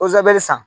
san